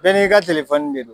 Bɛɛ n'i ka de do.